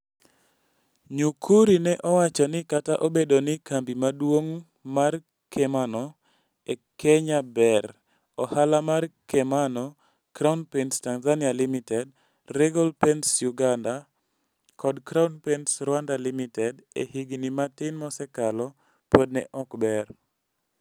Nyukuri ne owacho ni kata obedo ni kambi maduong' mar kemano e Kenya ber, ohala mar kemano - Crown Paints Tanzania Ltd, Regal Paints Uganda, kod Crown Paints Rwanda Ltd) e higni matin mosekalo, pod ne ok ber.